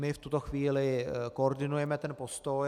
My v tuto chvíli koordinujeme ten postoj.